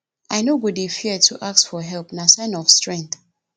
i no go dey fear to ask for help na sign of strength